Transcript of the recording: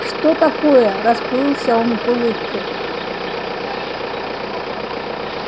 что такое расплылся он в улыбке